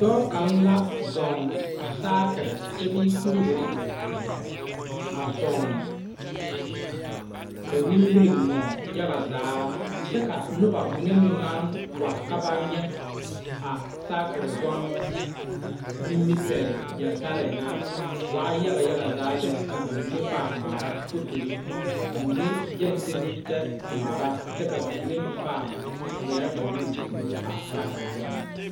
Dɔɔ kaŋ la zɔɔŋ saakiri kyɛbee kuriwiri a zɔɔŋ k,o nimiri moɔŋ yaga zaa kyɛ ka noba mine meŋ naŋ wa ka ba nyɛ a saakiri zɔmmo nimipɛle yeltare ŋa waa yaga yaga zaa lɛ ka ba mine paa ŋmaara fotori ka mine gyɛŋ teŋɛ kyɛ ŋmaara kyɛ ka ba mine meŋ paaŋ ŋmeɛrɛ ba nuuri kuro a saakiri zɔnnɔ.